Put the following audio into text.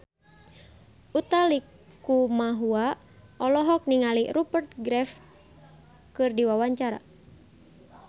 Utha Likumahua olohok ningali Rupert Graves keur diwawancara